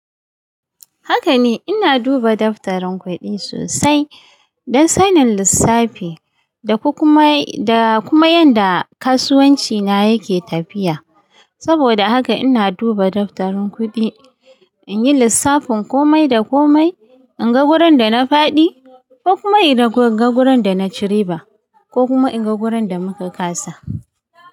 Haka ne, ina duba daftarin kuɗi sosai don sanin lissafi da kuma kuma yadda kasuwancina yake tafiya. Saboda haka ina duba daftarin kuɗi in yi lissafin komai da komai, in ga wurin da na faɗi ko kuma in ga wurin da na cire ba, ko kuma in ga wurin da muka ƙasa.